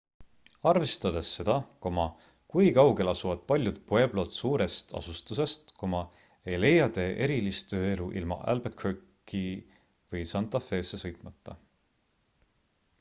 arvestades seda kui kaugel asuvad paljud pueblod suurest asustusest ei leia te erilist ööelu ilma albuquerque'i või santa fesse sõitmata